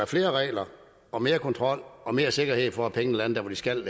flere regler og mere kontrol og mere sikkerhed for at pengene lander der hvor de skal